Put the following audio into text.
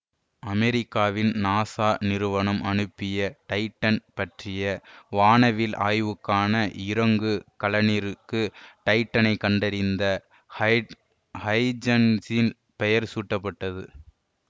அமெரிக்காவின் நாசா நிறுவனம் அனுப்பிய டைட்டன் பற்றிய வானவில் ஆய்வுக்கான இறங்கு கலனிற்கு டைட்டனைக் கண்டறிந்த ஹைஜன்ஸின் பெயர் சூட்டப்பட்டது